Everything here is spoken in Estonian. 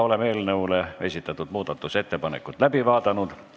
Oleme eelnõu kohta esitatud muudatusettepanekud läbi vaadanud.